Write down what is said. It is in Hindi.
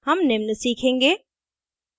हम निम्न सीखेंगे